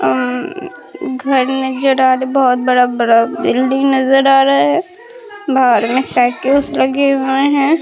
आ घर नजर आ रहे बहोत बड़ा-बड़ा बिल्डिंग नजर आ रहा है बाहर में साइकिल्स लगे हुए हैं।